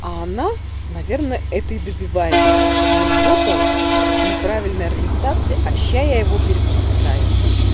а она наверное это и добивается мол вот он неправильной ориентации а сейчас я его перевоспитаю